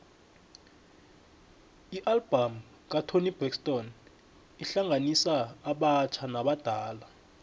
ialbum katoni braxton ihlanganisa abatjha nabadala